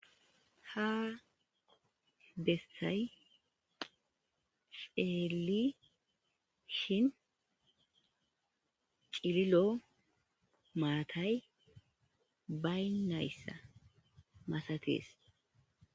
Ha bessay peeli shin cililo maatay baynayssa masatees.